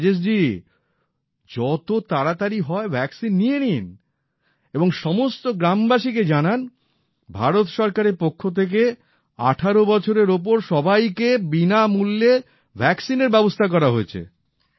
রাজেশ জি যত তাড়াতাড়ি হয় ভ্যাক্সিন নিয়ে নিন এবং সমস্ত গ্রাম বাসীকে জানান ভারত সরকারের পক্ষ থেকে ১৮ বছরের ওপর সবাইকে বিনামূল্যে ভ্যাক্সিনের ব্যবস্থা করা হয়েছে